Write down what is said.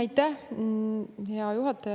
Aitäh, hea juhataja!